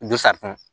Gosatuma